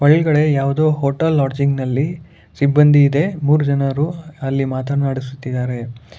ಒಳಗಡೆ ಯಾವುದು hotel lodging ನಲ್ಲಿ ಸಿಬ್ಬಂದಿ ಇದೆ ಮೂರು ಜನರು ಅಲ್ಲಿ ಮಾತನಾಡುತ್ತಿದ್ದಾರೆ.